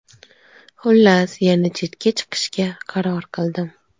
Xullas, yana chetga chiqishga qaror qildim.